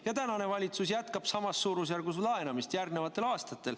Ja praegune valitsus jätkab samas suurusjärgus laenamist järgnevatel aastatel.